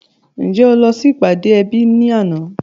Ǹjẹ́ o lọ sí ìpàdé ẹbí ní àná?